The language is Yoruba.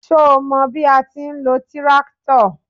Ṣo mọ bí a ti ń lo tíráktọ̀?